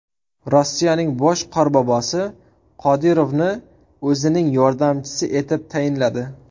Rossiyaning bosh Qorbobosi Qodirovni o‘zining yordamchisi etib tayinladi.